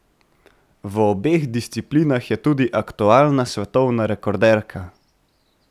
V obeh disciplinah je tudi aktualna svetovna rekorderka.